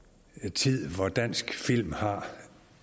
tid hvor dansk film har